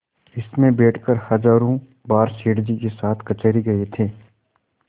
इसमें बैठकर हजारों बार सेठ जी के साथ कचहरी गये थे